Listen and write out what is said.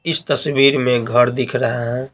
इस तस्वीर में घर दिख रहा है।